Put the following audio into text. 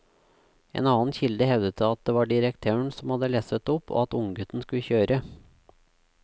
En annen kilde hevdet det var direktøren som hadde lesset opp og at unggutten skulle kjøre.